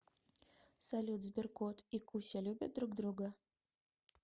салют сберкот и куся любят друг друга